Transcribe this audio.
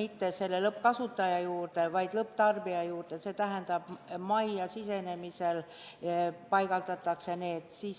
mitte lõppkasutaja juurde, vaid lõpptarbija juurde, see tähendab, et need paigaldatakse majja sisenemise kohta.